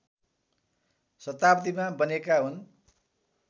शताब्दीमा बनेका हुन्